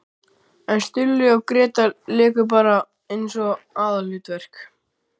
En Stulli og Gréta léku bara eins og aðalhlutverk!